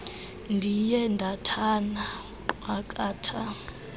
ndiye ndathana nqwakatha